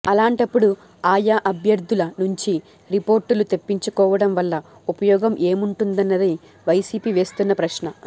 అలాంటప్పుడు ఆయా అభ్యర్థుల నుంచీ రిపోర్టులు తెప్పించుకోవడం వల్ల ఉపయోగం ఏముంటుందన్నది వైసీపీ వేస్తున్న ప్రశ్న